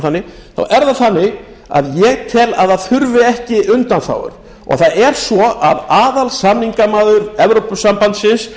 þannig þá er það þannig að ég tel að það þurfi ekki undanþágur og það er svo að aðalsamningamaður evrópusambandsins